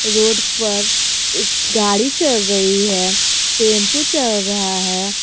Road पर एक गाड़ी चल रही है टेंपो चल रहा है।